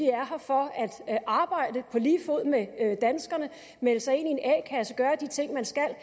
er her for at arbejde på lige fod med danskerne melde sig ind i en a kasse gøre de ting man skal